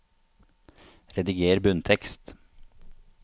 Rediger bunntekst